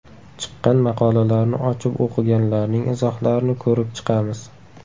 Chiqqan maqolalarni ochib o‘qiganlarning izohlarini ko‘rib chiqamiz.